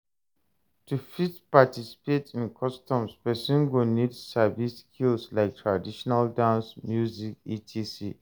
To fit participate in customs persin go need sabi skills like traditional dance, music, etc